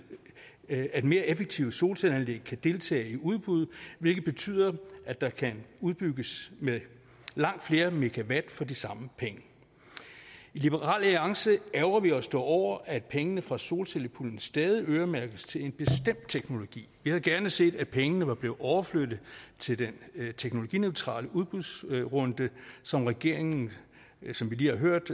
at mere effektive solcelleanlæg kan deltage i udbud hvilket betyder at der kan udbygges med langt flere megawatt for de samme penge i liberal alliance ærgrer vi os dog over at pengene fra solcellepuljen stadig øremærkes til en bestemt teknologi vi havde gerne set at pengene var blevet overflyttet til den teknologineutrale udbudsrunde som regeringen som vi lige har hørt